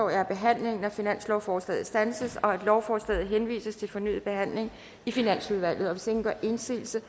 at behandlingen af finanslovsforslaget standses og at lovforslaget henvises til fornyet behandling i finansudvalget hvis ingen gør indsigelse